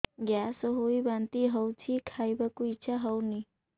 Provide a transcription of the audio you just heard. gas ହୋଇ ବାନ୍ତି ହଉଛି ଖାଇବାକୁ ଇଚ୍ଛା ହଉନି